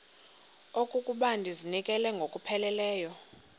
okokuba ndizinikele ngokupheleleyo